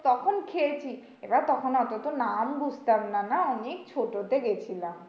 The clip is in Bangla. তখন খেয়েছি এবার তখন ওতো তো নাম বুঝতাম না না? আমি ছোট তে গেছিলাম।